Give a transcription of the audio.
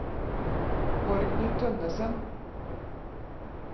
Borgny Tønnessen